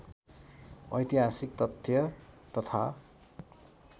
ऐतिहासिक तथ्य तथा